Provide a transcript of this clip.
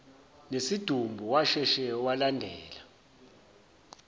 nesidumbu washesha walandela